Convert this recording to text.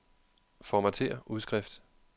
Formatér udskrift.